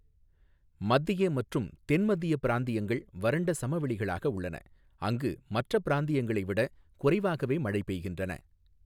மத்திய மற்றும் தென் மத்திய பிராந்தியங்கள் வறண்ட சமவெளிகளாக உள்ளன, அங்கு மற்ற பிராந்தியங்களை விட குறைவாகவே மழை பெய்கின்றன.